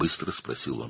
o tez soruşdu.